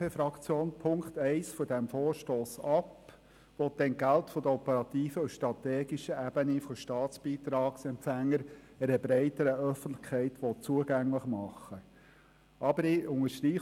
Punkt 1 des Vorstosses, der die Entgelte der operativen und strategischen Ebenen von Staatsbeitragsempfängern einer breiteren Öffentlichkeit zugänglich machen will, lehnt die FDP-Fraktion im Einklang mit dem Regierungsrat ab.